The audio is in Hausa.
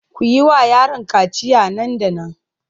Ku yi wa yaron kaciya nan da nan!